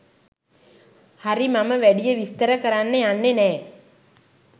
හරි මම වැඩිය විස්තර කරන්න යන්නේ නෑ